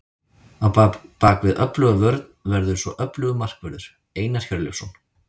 Á bakvið öfluga vörn verður svo öflugur markvörður, Einar Hjörleifsson.